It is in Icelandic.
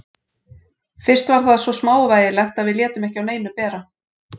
Fyrst var það svo smávægilegt að við létum ekki á neinu bera.